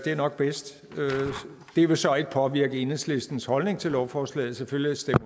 er nok bedst det vil så ikke påvirke enhedslistens holdning til lovforslaget selvfølgelig stemmer